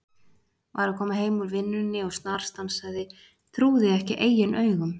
Var að koma heim úr vinnunni og snarstansaði, trúði ekki eigin augum.